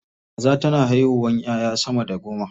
Kaza tana haihuwa 'ya'ya sama da goma.